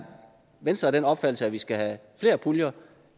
venstre af den opfattelse at vi skal have flere puljer